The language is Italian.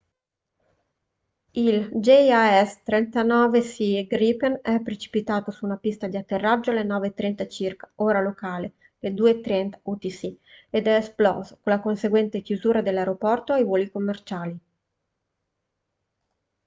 il jas 39c gripen è precipitato su una pista di atterraggio alle 9:30 circa ora locale 02:30 utc ed è esploso con la conseguente chiusura dell’aeroporto ai voli commerciali